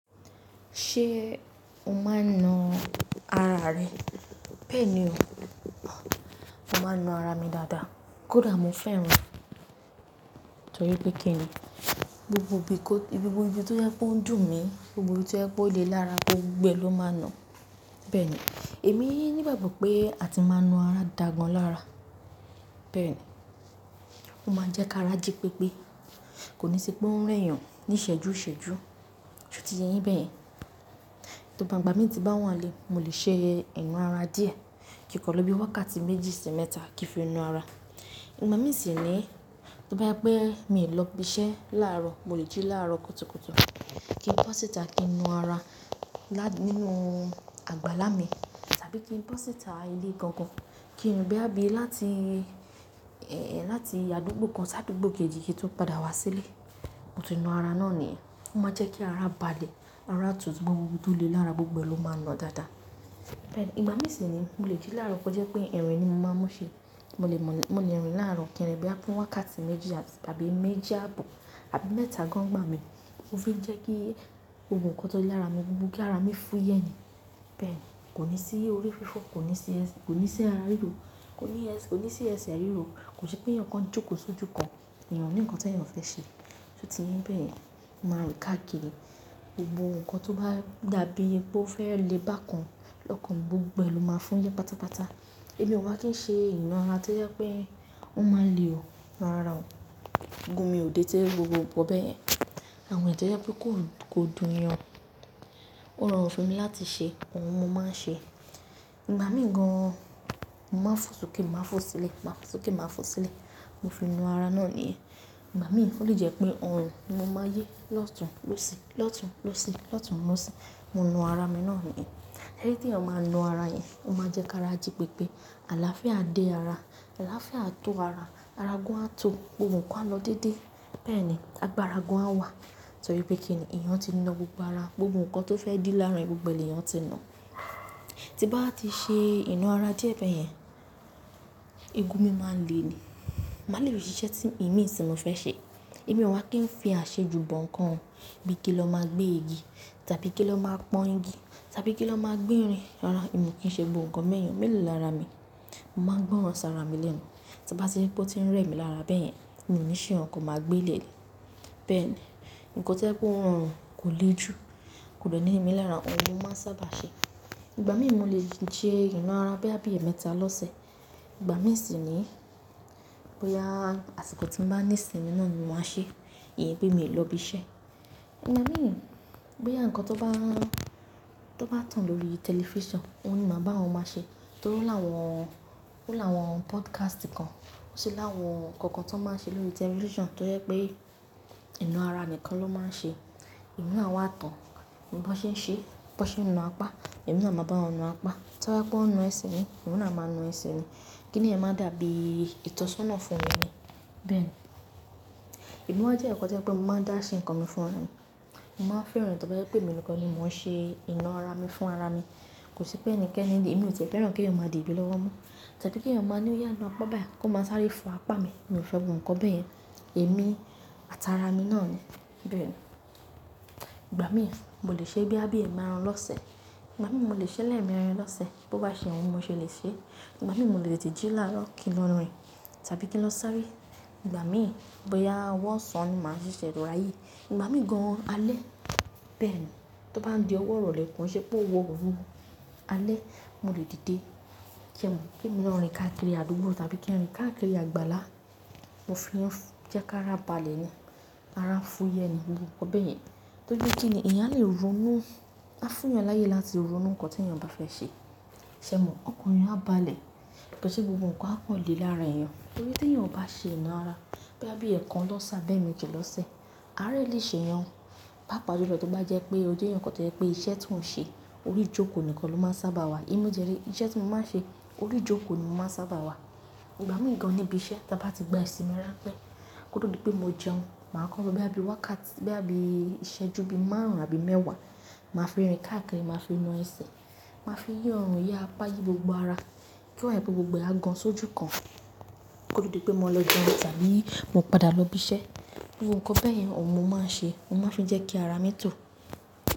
Ṣé o máa ń na ara rẹ? Bẹ́ẹ̀ni o, mo máa ń na ara mi dáadáa. Kódà mo fẹ́ran, tọrípé kí ni gbogbo ibi tó jẹ́ pé ó dùn mi, gbogbo ibi tó jẹ́ pé ó lè lára gbogbo è ló máa na. Bẹ́ẹ̀ni, èmi ní ìgbábo pé a ti máa na ara dà gàn lára. Bẹ́ẹ̀ni, ó máa jẹ́ ká rá jí pépé. Kò ní sí pé ó ń rẹ̀yàn ní ìṣẹ́jú ìṣẹ́jú. Sọ ti yé yin bẹ́ẹ̀ yen? Tó bá ìgbà mi ti bá wa n le, mo lè ṣe ina ará díẹ̀. Kíkọ́ lọ bíi wákàtí méjì sí mẹ́ta kí n fi na ara. Ìgbà mìíràn sì ni tó bá yá pé mi ò lọ ibi iṣẹ́ láàárọ̀, mo lè jí láàárọ̀ kùtùkùtù kí n bọ́ síta kí n na ara nínú àgbàlá mi tàbí kí n bọ́ síta ilé gan gan kí ń rí bóyá bí láti, ehn, láti àdúgbò kan sàdugbò kèjì kí n tó padà wá sílé. Mo ti na ara náà ni. Ó máa jẹ́ kí ara balẹ̀, ara tutu, gbogbo ibi tó lè lára gbogbo è ló máa na dáadáa. Bẹ́ẹ̀ ni, ìgbà mìí sì ni mo lè jí láàárọ̀ bó jẹ́ pé ìrìn nì mó máa mú ṣe. Mo lè rìn láàárọ̀ kí n rin bóyá bí fún wákàtí méjì àbí méjì àbọ̀ àbí mẹ́ta gan gbà mí. Mo fi ń jẹ́ kí gbogbo nǹkan tó lẹ́ lára mi gbogbo kí ara mi fúyẹ́ ni. Bẹ́ẹ̀ ni, kò ní sí orí fífọ́, kò ní sí, kò ní sí ara rírò, kò ní sí ẹsẹ̀ rírò. Kò sí pé èyán kàn jókòó sójú kan. Èèyàn o ní nǹkan tẹ̀yàn fẹ́ ṣe. Sọ ti yé bẹ́ẹ̀? Maa rin káàkiri, gbogbo nkan to ba da bi pe o fẹ le ba kan lọ kan mi, gbogbo ẹ lo ma fún le pata pata. Èmi, o wa kì í ṣe ìnà ara tó jẹ́ pé ó máa le ò rara o. Egun mi ò dé té ro gbogbo nkan bẹ́yẹn. Àwọn ẹ̀yàn tó jẹ́ pé kò dùn yan, ó rọrùn fún mi láti ṣe òun, mo máa ń ṣe. Ìgbà mìíràn gan, mo máa fò sókè, máa fò sílẹ̀, máa fò sókè, máa fò sílẹ̀. Mo fi na ara náà ni. Ìgbà mìí ó lè jẹ́ pé ọrun ni mo máa yé lọ́tùn, losì, lọ́tùn, losì, lọ́tùn, lọ́sì. Mo na ara mi náà ni. Ṣẹri tí eyàn máa ń na ara yẹn, ó máa jẹ́ ká ará jí pépé. Àlàáfíà dé ara, àlàáfíà tó ara, ara gan a tó, gbogbo nǹkan a lọ dédé. Bẹ́ẹ̀ ni, agbára gún a wà. Tọrípé kí ni ẹ̀yàn ti na gbogbo ara, gbogbo nǹkan tó fẹ́ dí lára ẹ̀, gbogbo l'eyàn ti na. Tí bá ti ṣe ìnà ara díẹ̀ bẹ́ẹ̀ yẹn, egun mi máa ń le ni. Màá le rí ṣiṣẹ́ tí imi sì tí mo fẹ́ ṣe. Èmi owa kì í n fi àṣejù bọ̀ nǹkan bíi kí lọ máa gbé igi tàbí kí lọ máa pọ́n igi tàbí kí lọ máa gbé ẹ̀rìn rara. Ìmú kì í ṣe gbogbo nǹkan mẹ́yàn mélòó lára mi. Mo máa n gbọ́ran sára mi lẹ́nu. Tí n bá ti ri pé ó ti ń rẹ̀ mí lára bẹ́ẹ̀ yẹn, mi ò ní ṣe nǹkan máa gbé lẹ ni. Bẹ́ẹ̀ ni, nǹkan tó ẹ́ pé o rọrùn kò le jù, kò dẹ ní ẹ̀mí lára òun ló máa sábà ṣe. Ìgbà mìí mo lè ṣe ìnà ara bo ya bi ẹ ẹmẹ́ta lọ́sẹ̀. Ìgbà mìíràn sì ni bóyá àsìkò tí mo bá ní ìsinmi náà ni mo máa ṣe. Ìyẹn pe mii è lọ ibi iṣẹ́. Ìgbà mìí, bóyá nǹkan tọ bá, tó bá tàn lórí tẹlifíṣàn, ó ní ì máa bá wọn máa ṣe. Torí o láwọn, ó láwọn pọ́dkásítì kan, ó sì láwọn nǹkan kan tọ máa ń ṣe lórí tẹlifíṣàn tó jẹ́ pé ìnà ara nìkan lọ máa ń ṣe. Emi náà wa tan bí wọ́n ṣe ń ṣe, bọ́ ṣe ń na apá, emi náà máa bá wọn na apá. To ba jẹ pe wọń na ẹsẹ̀ ni, ohun náà máa na ẹsẹ̀ ni. Kí ni ẹ máa dàbí ìtọ́sọ́nà fún mi ni. Bẹ́ẹ̀ ni, emi wa jẹ́ ǹkan tó jẹ́ pé mo máa dá ṣe nǹkan mi fún ara mi. Mo máa fẹ́ràn tó bá jẹ́ pé èmi nìkan ni mò ń ṣe ìnà ara mi fún ara mi. Kò sí pé ẹnikẹ́ni ní ilé mi ó ti fẹ́ràn kí èyan máa dì mì lọ́wọ́ mú tàbí kí ẹ̀yàn máa ní ó yá lo apa báyìí kó máa sáré fọ apá mi. Mi ò fẹ́ gbogbo nǹkan bẹ́ẹ̀ yẹn. Èmi àti ara mi náà ni. Bẹ́ẹ̀ ni. Ìgbà mìíràn, mo lè ṣe boya bí ẹ̀ máàrún lọ́sẹ̀. Ìgbà mìí mo lè ṣe lẹ mẹ́rin lọ́sẹ̀. Bo ba ṣe wun mi mo ṣele ṣe. Ìgbà mìí mo lè tètè jí láàárọ̀ kí n lọ rìn tàbí kí n lọ sáré. Ìgbà mìí bóyá ọwọ ọsan mi máa ṣẹṣẹ raye. Ìgbà mìíràn gan alẹ́. Bẹ́ẹ̀ ni, tó bá ń di ọwọ́ ọ̀rọ̀ lè kàn ṣe pé ó wo ko wo. Alẹ́ mo lè dìde, ṣẹ́ mọ̀, kí n lọ rìn káàkiri àdúgbò tàbí kí n rìn káàkiri àgbàlá. Mo fi yàn jẹ́ ká rá balẹ̀ ni, ara ń fúyẹ́ ni gbogbo nkan bẹ yẹn. Torí pé kí ni ẹ̀yàn lè ronú, a fún wọn láyé láti ronú nǹkan tí ẹ̀yàn bá fẹ́ ṣe. Ṣẹ́ mọ̀, ọkàn ẹ̀yàn á balẹ̀ bó ti ṣe gbogbo nǹkan á pọ́n le lára ẹ̀yàn. Torí tí ẹ̀yàn bá ṣe ìnà ara, bóyá bí ẹ̀ kan lọ́ ṣẹ, bẹ́ẹ̀ méjì lọ́sẹ̀, aarẹ lè ṣe ẹ̀yàn. Paapa ju lọ tó bá jẹ́ pé ó jẹ́ eyan kan tó jẹ́ pé iṣẹ́ tí òun ṣe, orí ìjókòó nìkan ló máa n sábà wà. Emi dẹré, iṣẹ́ tí mo máa ń ṣe, orí ìjókòó ni mo máa n sábà wà. Ìgbà mìí gan níbi iṣẹ́, tí bá ti gba ìsinmi rán pẹ kóto di pé mo jẹun, màá kọ́lo boya bí i wákàtí, boya bí i iṣẹ́jú bí i márùn-ún bí mẹ́wàá, màá fi rìn káàkiri, màá fi na ẹsẹ̀, màá fi yí ọrùn, yi apá, yí gbogbo ara ko maa jẹ pé gbogbo à gàn sójú kan. Kóto di pé mo lọ jẹun tà bi, mo padà lọ ibi iṣẹ́. Gbogbo nǹkan bẹ́ẹ̀ yẹn òun mo máa ń ṣe. Mo máa n fẹ jẹ́ kí ara mi tò.